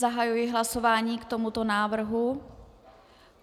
Zahajuji hlasování k tomuto návrhu.